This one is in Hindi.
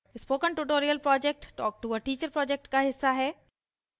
spoken tutorial project talk to a teacher project का हिस्सा है